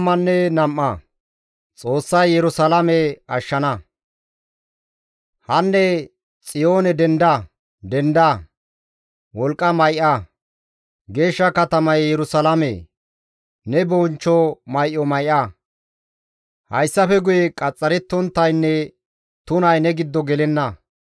Hanne Xiyoone denda; denda; wolqqa may7a; geeshsha katamaye Yerusalaamee! Ne bonchcho may7o may7a; hayssafe guye qaxxarettonttaynne tunay ne giddo gelenna.